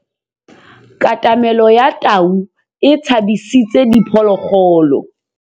Katamêlô ya tau e tshabisitse diphôlôgôlô.